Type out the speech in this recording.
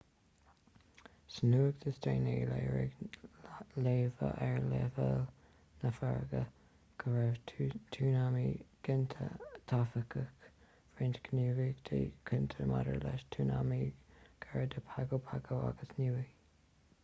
sa nuacht is déanaí léirigh léamha ar leibhéil na farraige go raibh tsunami ginte taifeadadh roinnt gníomhaíochta cinnte maidir le tsunami gar do pago pago agus niue